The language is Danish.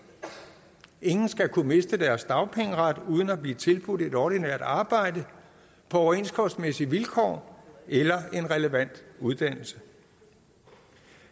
ingen skal kunne miste deres dagpengeret uden at blive tilbudt et ordinært arbejde på overenskomstmæssige vilkår eller en relevant uddannelse